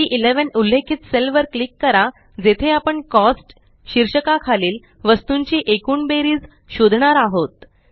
C11उल्लेखित cell वर click करा जेथे आपण कॉस्ट शीर्षका खालील वस्तूंची एकूण बेरीज शोधणार आहोत